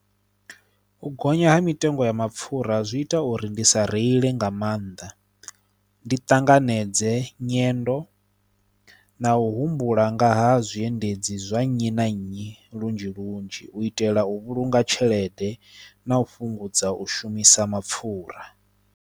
U gonya ha mitengo ya mapfhura zwi ita uri ndi sa reili nga maanḓa, ndi tanganedze nyendo na u humbula nga ha zwiendedzi zwa nnyi na nnyi lunzhi lunzhi u itela u vhulunga tshelede na u fhungudza u shumisa mapfhura.